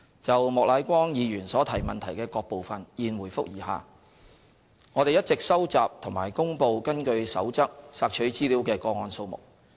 就莫乃光議員所提質詢的各部分，現回覆如下：一我們一直收集及公布根據《守則》索取資料的個案數目。